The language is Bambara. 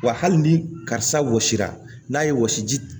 Wa hali ni karisa wɔsira n'a ye wɔsiji